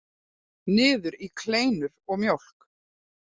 Niður í kleinur og mjólk.